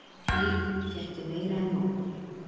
Af því fékk ég meir en nóg.